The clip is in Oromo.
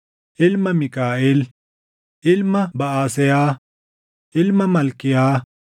ilma Miikaaʼel, ilma Baʼaseeyaa, ilma Malkiyaa,